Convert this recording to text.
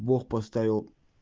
бог поставил